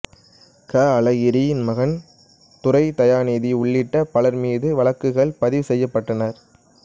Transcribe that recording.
க அழகிரியின் மகன் துரை தயாநிதி உள்ளிட்ட பலர் மீது வழக்குகள் பதிவு செய்யப்பட்டன